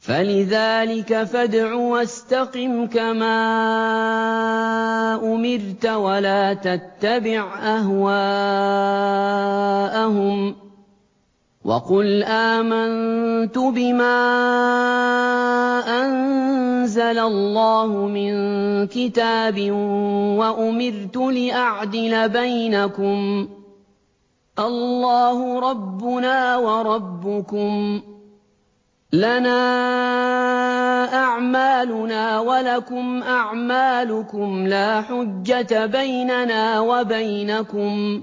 فَلِذَٰلِكَ فَادْعُ ۖ وَاسْتَقِمْ كَمَا أُمِرْتَ ۖ وَلَا تَتَّبِعْ أَهْوَاءَهُمْ ۖ وَقُلْ آمَنتُ بِمَا أَنزَلَ اللَّهُ مِن كِتَابٍ ۖ وَأُمِرْتُ لِأَعْدِلَ بَيْنَكُمُ ۖ اللَّهُ رَبُّنَا وَرَبُّكُمْ ۖ لَنَا أَعْمَالُنَا وَلَكُمْ أَعْمَالُكُمْ ۖ لَا حُجَّةَ بَيْنَنَا وَبَيْنَكُمُ ۖ